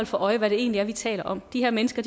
for øje hvad det egentlig er vi taler om de her mennesker